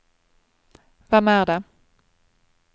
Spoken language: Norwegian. hvem er det